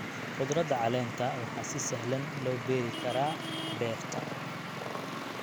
Khudradda caleenta waxaa si sahlan loo beeri karaa beerta.